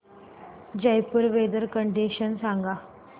Jaipur weather condition सांगा